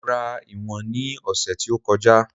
Mo rà ìwọ̀n ni ose tí ó kọjá